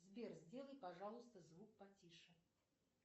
сбер сделай пожалуйста звук потише